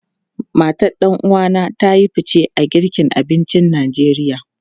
Matan ɗan uwa na ta yi fice a girka abincin Najeriya.